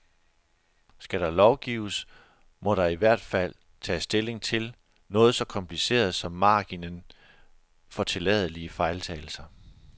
Skal der lovgives, må der i hvert fald tages stilling til noget så kompliceret som marginen for tilladelige fejltagelser.